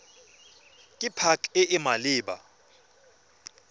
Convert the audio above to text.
ke pac e e maleba